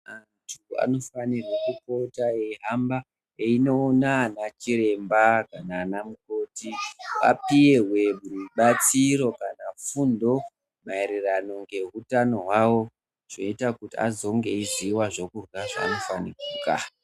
Antu ano fanirwe kupota eyi hamba eyino ona ana chiremba nana mukoti apihwe rubatsiro kana fundo maererano nge hutano hwawo zveita kuti azonge eyiziya kurya zvano fanira kurya.